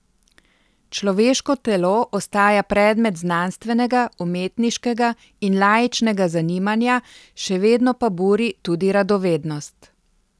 Človeško telo ostaja predmet znanstvenega, umetniškega in laičnega zanimanja, še vedno pa buri tudi radovednost.